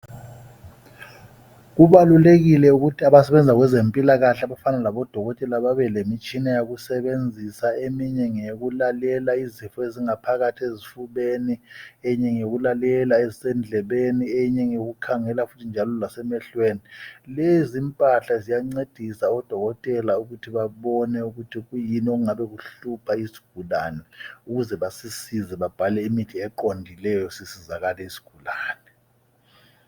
Kubalulekile ukuthi abasebenza kwezempilakahle, Abafana labodokotela, babe lemitshina yokusebenzisa. Eminye ngeyokulalrla izifo ezingaphakathi esifubeni, Eminye ngeyokulalela ezisendlebeni. Eminye ngeyokukhangela futhi njalo lasemehlweni. Lezimpahla. ziysncedisa ofokotela ukuthi babone ukuthi kuyini okungabe kuhlupha. isigulsne. Babhale imithi eqondileyo. Sisizakale isigulane.